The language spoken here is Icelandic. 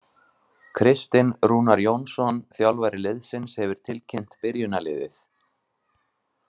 Kristinn Rúnar Jónsson þjálfari liðsins hefur tilkynnt byrjunarliðið.